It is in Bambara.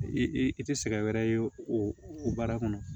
I i tɛ sɛgɛn wɛrɛ ye o baara kɔnɔ